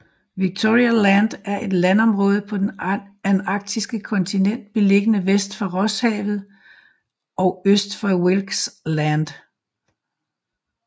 Victoria Land er et landområde på det antarktiske kontinent beliggende vest for Rosshavet og øst for Wilkes Land